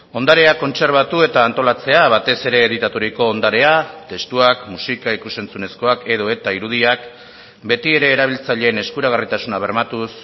ondarea kontserbatu eta antolatzea batez ere editaturiko ondarea testuak musika ikus entzunezkoak edota irudiak beti ere erabiltzaileen eskuragarritasuna bermatuz